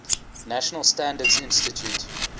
national standards institute